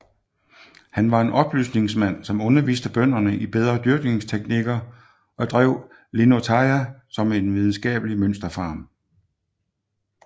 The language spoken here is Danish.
Han var en oplysningsmand som underviste bønderne i bedre dyrkingsteknikker og drev Linnutaja som en videnskabelig mønsterfarm